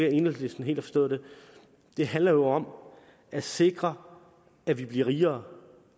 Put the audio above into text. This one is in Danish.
at enhedslisten helt har forstået det handler jo om at sikre at vi bliver rigere